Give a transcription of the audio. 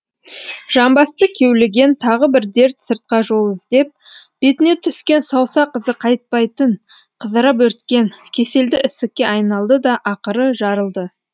жамбасты кеулеген тағы бір дерт сыртқа жол іздеп бетіне түскен саусақ ізі қайтпайтын қызара бөрткен кеселді ісікке айналды да ақыры жарылды